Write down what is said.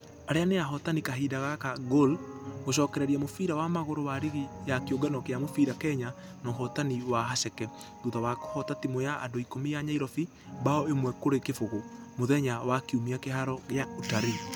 Arĩa nĩ ahotani a kahinda gaka gor gũcokereria mũbira wa magũrũ wa rigi ya kĩũngano gĩa mũbira kenya na ũhotani wa haceke. Thutha wa kũhota timũ ya andũ ikũmi ya nyairobi bao ĩmwe kũrĩ kĩfũgũ mũthenya wa kiumia kiharo gĩa utalii.